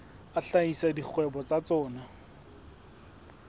a hlahisa dikgwebo tsa tsona